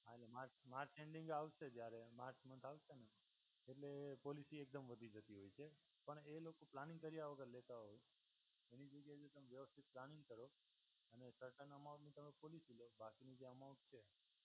અને march march ending આવશે જ્યારે માર્ચ મહિનો આવશે ને એટલે પોલિસી એકદમ વધી જતી હોય છે પણ એ લોકો પ્લાનિંગ કર્યા વગર લેતા હોય છે. બનીચુકે તમે વ્યવથિત પ્લાનિંગ કરો અને સરટન અમાઉન્ટની તમે પોલિસી લો અને બાકીની જે અમાઉન્ટ છે